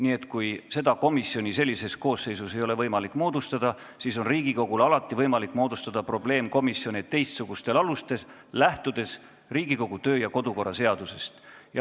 Nii et kui seda komisjoni sellises koosseisus ei ole võimalik moodustada, siis on Riigikogul alati võimalik moodustada probleemkomisjoni teistsugusel alusel, lähtudes Riigikogu kodu- ja töökorra seadusest.